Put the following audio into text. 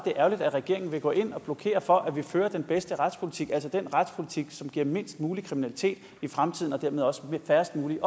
ærgerligt at regeringen vil gå ind og blokere for at vi fører den bedste retspolitik altså den retspolitik som giver mindst muligt kriminalitet i fremtiden og dermed også færrest muligt